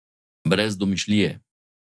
Brez domišljije!